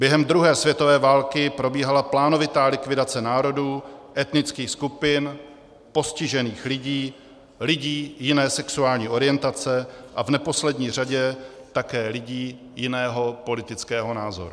Během druhé světové války probíhala plánovitá likvidace národů, etnických skupin, postižených lidí, lidí jiné sexuální orientace a v neposlední řadě také lidí jiného politického názoru.